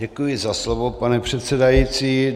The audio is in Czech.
Děkuji za slovo, pane předsedající.